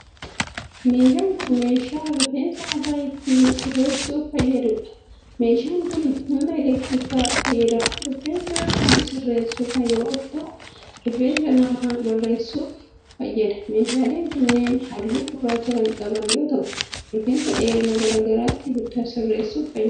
Meeshaan kun, meeshaa rifeensa mataa ittiin sirreessuuf fayyaduu dha. Meeshaan kun humna elektirikaa fayyadamuun rifeensa kan sirreessu yoo ta'u, rifeensa namaa bareessuuf fayyada. Meeshaaleen kunneen haalluu gurraacha kan qaban yoo ta'u, rifeensa dheerina garaa garaatti sirreessuuf fayyadu.